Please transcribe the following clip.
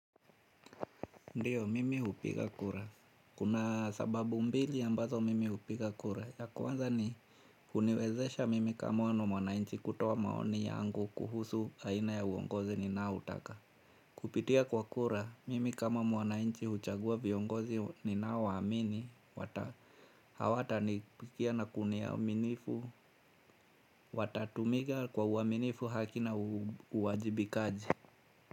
Ndiyo mimi hupiga kura kuna sababu mbili ambazo mimi hupiga kura ya kwanza ni uniwezesha mimi kama mwana nchi kutoa maoni yangu kuhusu aina ya uongozi ni nao utaka kupitia kwa kura mimi kama mwananchi huchagua viongozi ninao waamini hawata nipigia na kunia uminifu watatumika kwa uaminifu haki na uwajibikaji.